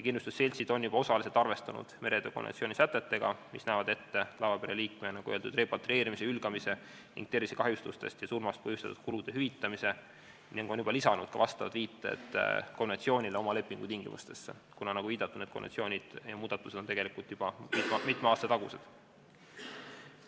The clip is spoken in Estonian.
Kindlustusseltsid on juba osaliselt arvestanud meretöö konventsiooni sätetega, mis näevad ette laevapere liikme, nagu öeldud, repatrieerimisest, hülgamisest ning tervisekahjustusest ja surmast põhjustatud kulude hüvitamise, ning on juba lisanud viited konventsioonile oma lepingutingimustesse, kuna nagu viidatud, need konventsioonid ja muudatused on mitme aasta tagused.